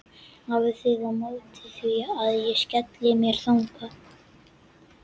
Hafið þið á móti því að ég skelli mér þangað?